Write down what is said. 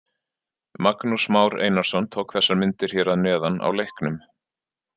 Magnús Már Einarsson tók þessar myndir hér að neðan á leiknum.